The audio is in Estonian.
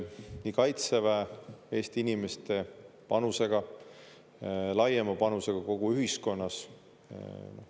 Nii Kaitseväe, Eesti inimeste panusega, laiema panusega kogu ühiskonnas.